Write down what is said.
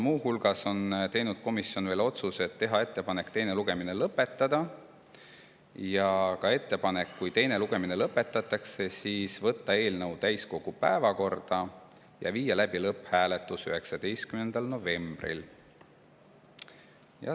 Muu hulgas on komisjon teinud otsuse teha ettepanek teine lugemine lõpetada ja kui teine lugemine lõpetatakse, siis võtta eelnõu täiskogu päevakorda ja viia läbi lõpphääletus 19. novembril.